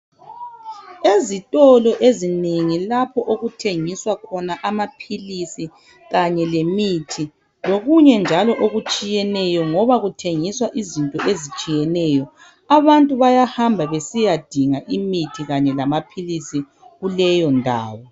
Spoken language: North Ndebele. Ezitolo ezinengi lapho okuthengiswa khona amaphilisi kanye lemithi lokunye njalo okutshiyeneyo loba kuthengiswa izinto ezitshiyeneyo abantu bayahamba besiyadinga imithi lamaphilisi kuleyondawo.